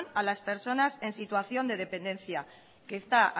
a las personas en situación de dependencia que está